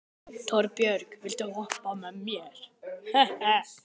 Torbjörg, viltu hoppa með mér?